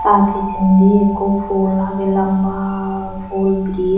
ta pichendi ikko phul agey lamba phul bri.